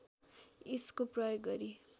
यसको प्रयोग गरी